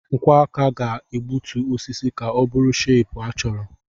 Nkwọ aka ga-egbutu osisi ka ọ bụrụ shepu a chọrọ.